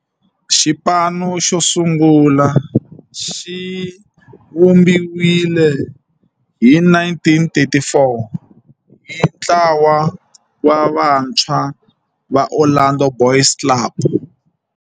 Xipano xosungula xivumbiwile hi 1934 hi ntlawa wa vantshwa va Orlando Boys Club.